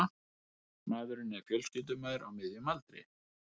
Maðurinn er fjölskyldumaður á miðjum aldri